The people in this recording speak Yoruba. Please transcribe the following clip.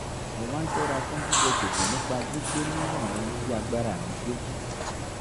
mo máa ń ṣọ́ra fún jíjẹ gbèsè nípa gbígbé níwọ̀n ohun tí agbára mi gbé